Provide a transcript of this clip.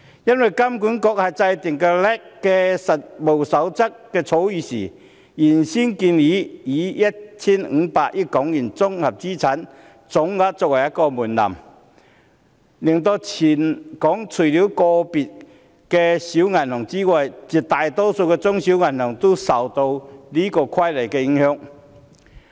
因為金管局在制訂 LAC 的《實務守則》草擬本時，原本建議以 1,500 億元綜合資產總額作為門檻，令全港除了個別的小型銀行外，絕大多數的中小型銀行也受到《規則》的影響。